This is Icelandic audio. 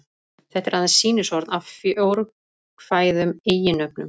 Þetta er aðeins sýnishorn af fjórkvæðum eiginnöfnum.